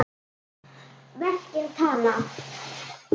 Verkin tala.